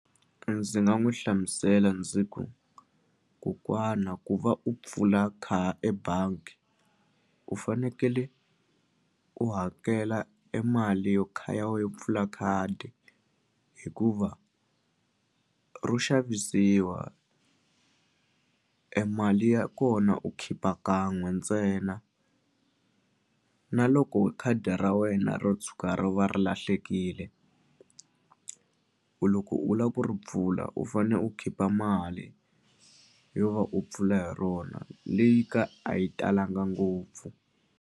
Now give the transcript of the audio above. Ndzi nga n'wi hlamusela ndzi ku kokwana ku va u pfula ebangi u fanekele u hakela e mali yo ya we yo pfula khadi hikuva ro xavisiwa e mali ya kona u khipa kan'we ntsena na loko khadi ra wena ro tshuka ri va ri lahlekile ku loko u la ku ri mpfula u fane u khipa mali yo va u pfula hi rona leyi ka a yi talanga ngopfu.